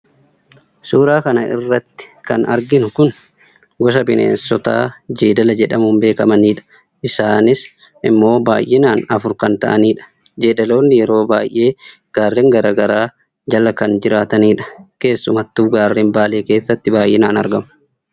suuraa kan irratti kan arginu kun gosa bineensotaa jeedala jedhamuun beekamani dha. isaanis immoo baayyinaan afur kan ta'anidha. jeedaloonni yeroo baay'ee gaarreen garagaraa jala kan jiraatanidha. keessumattuu gaarreen baalee keessatti baaayyinaan argamu.